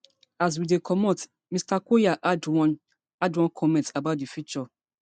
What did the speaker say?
as we dey comot mr collyer add one add one comment about di future